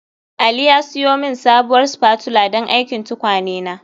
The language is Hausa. Ali ya siyo min sabuwar spatula don aikin tukwane na